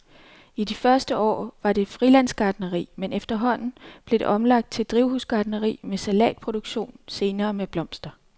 I de første år var det frilandsgartneri, men efterhånden blev det omlagt til drivhusgartneri med salatproduktion, senere med blomster.